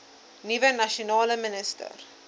nuwe nasionale minister